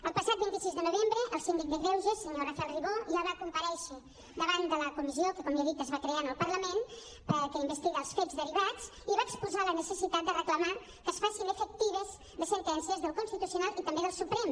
el passat vint sis de novembre el síndic de greuges senyor rafael ribó ja va compa·rèixer davant de la comissió que com li he dit es va crear en el parlament que in·vestiga els fets derivats i va exposar la necessitat de reclamar que es facin efectives les sentències del constitucional i també del suprem